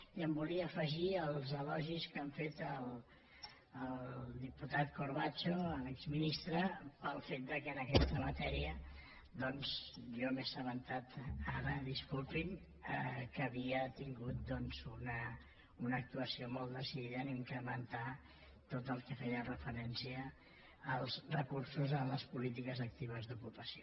i em volia afegir als elogis que han fet al diputat corbacho l’exministre pel fet que en aquesta matèria doncs jo m’he assabentat ara disculpin que havia tingut una actuació molt decidida a incrementar tot el que feia referència als recursos en les polítiques actives d’ocupació